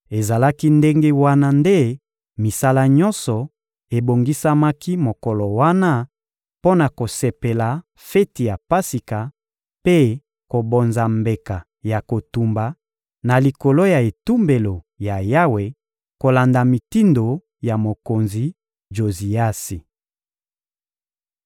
Ezalaki ndenge wana nde misala nyonso ebongisamaki mokolo wana mpo na kosepela feti ya Pasika mpe kobonza mbeka ya kotumba na likolo ya etumbelo ya Yawe, kolanda mitindo ya mokonzi Joziasi.